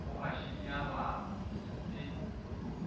o a šinyalala hm e